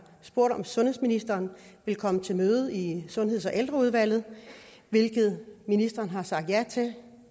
spurgt om sundhedsministeren vil komme til møde i sundheds og ældreudvalget hvilket ministeren har sagt ja til